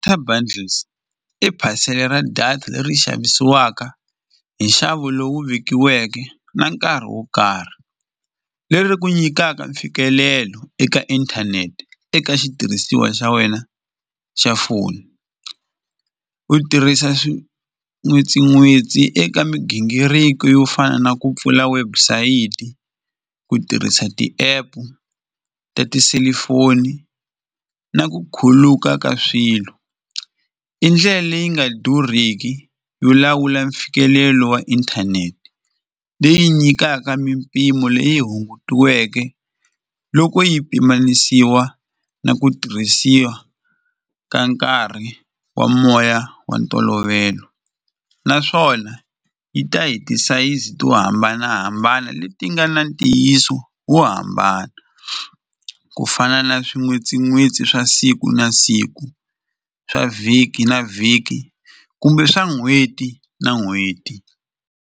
bundles i parcel-e ra data leri xavisiwaka hi nxavo lowu vekiweke na nkarhi wo karhi leri ku nyikaka mfikelelo eka inthanete eka xitirhisiwa xa wena xa foni u tirhisa swin'witsin'witsi eka migingiriko yo fana na ku pfula website ku tirhisa ti-app ta tiselifoni na ku khuluka ka swilo i ndlela leyi nga durhiki yo lawula mfikelelo wa inthanete leyi nyikaka mimpimo leyi hungutiweke loko yi pimanisiwa na ku tirhisiwa ka nkarhi wa moya wa ntolovelo naswona yi ta hi ti sayizi to hambanahambana leti nga na ntiyiso wo hambana ku fana na swin'witsin'witsi swa siku na siku swa vhiki na vhiki kumbe swa n'hweti na n'hweti.